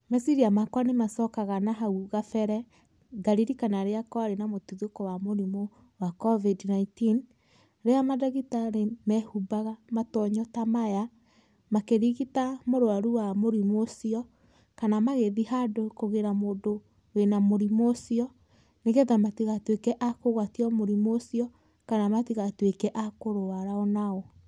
Meciria makwa nĩmacokaga na hau kabere, ngaririkana rĩrĩa kwarĩ na mũtuthũko wa mũrimũ wa Covid 19, rĩrĩa mandagĩtarĩ mehumbaga matonyo ta maya, makĩrigĩta mũrwaru wa mũrimũ ũcio kana magĩthiĩ handũ kũgĩra mũndũ wĩna mũrimũ ũcio, nĩgetha matigatuĩke a kũgwatio mũrimũ ũcio, kana matigatuĩke a kũrwarwa o nao.